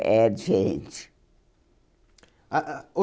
É diferente. Ah ah o